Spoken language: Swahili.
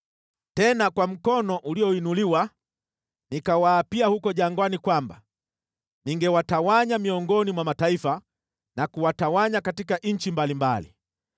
Tena kwa mkono ulioinuliwa nikawaapia huko jangwani kwamba ningewatawanya miongoni mwa mataifa na kuwatawanya katika nchi mbalimbali,